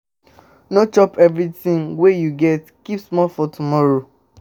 No chop everything wey you get, keep small for tomorrow.